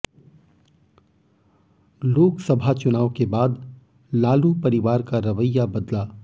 लोकसभा चुनाव के बाद लालू परिवार का रवैया बदला